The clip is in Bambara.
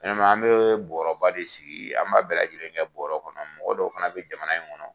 an me bɔrɔba de sigi, an b'a bɛ lajɛlen kɛ bɔrɔ kɔnɔ, mɔgɔ dɔw fana bi jamana in kɔnɔ